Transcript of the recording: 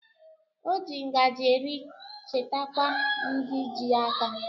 O ji ngaji eri chetakwa ndi ji aka